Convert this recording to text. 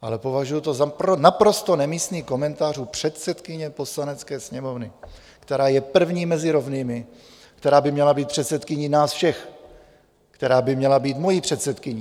Ale považuji to za naprosto nemístný komentář u předsedkyně Poslanecké sněmovny, která je první mezi rovnými, která by měla být předsedkyní nás všech, která by měla být mojí předsedkyní.